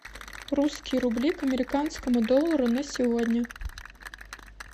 русские рубли к американскому доллару на сегодня